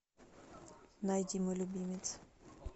найди мой любимец